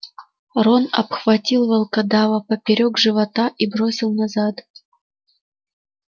рон обхватил волкодава поперёк живота и бросил назад